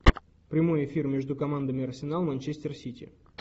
прямой эфир между командами арсенал манчестер сити